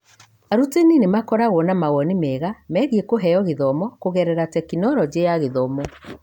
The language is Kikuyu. Arutani nĩ makoragwo na mawoni mega megiĩ kũheo gĩthomo kũgerera Tekinoronjĩ ya Gĩthomo.